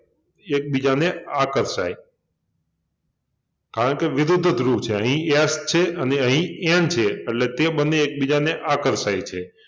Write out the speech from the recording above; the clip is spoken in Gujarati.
એકબીજાને આકર્ષાય કારણકે વિરુદ્ધ ધ્રુવ છે અહિં S અને અહિં N છે એટલે કે બન્ને એકબીજાને આકર્ષાય છે